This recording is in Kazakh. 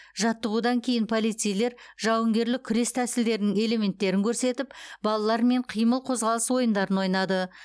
жаттығудан кейін полицейлер жауынгерлік күрес тәсілдерінің элементтерін көрсетіп балалармен қимыл қозғалыс ойындарын ойнады